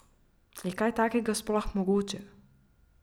Je kaj takega sploh mogoče?